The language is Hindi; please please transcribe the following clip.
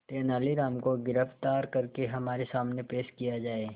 तेनालीराम को गिरफ्तार करके हमारे सामने पेश किया जाए